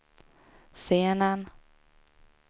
scenen